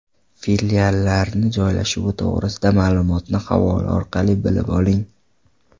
Filiallarni joylashuvi to‘g‘risida ma’lumotni havola orqali bilib oling .